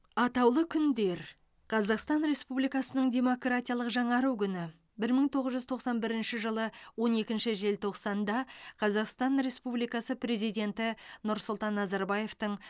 атаулы күндер қазақстан республикасының демократиялық жаңару күні бір мың тоғыз жүз тоқсан бірінші жылы он екінші желтоқсанда қазақстан республикасы президенті нұрсұлтан назарбаевтың